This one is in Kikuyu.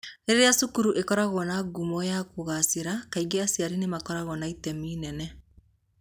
Rĩrĩa cukuru ikoragwo na ngumo ya kũgaacĩra, kaingĩ aciari nĩ makoragwo na itemi inene